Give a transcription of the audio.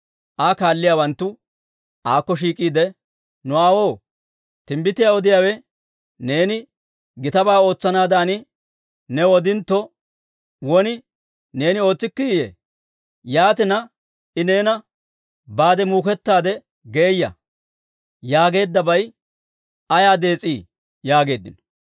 Aa kaaliyaawanttu aakko shiik'iide, «Nu aawoo, timbbitiyaa odiyaawe neeni gitabaa ootsanaadan new odintto, won neeni ootsikkiiyye? Yaatina I neena, ‹Baade muukettaade geeya› yaageeddabay ayaa dees'ii?» yaageeddino.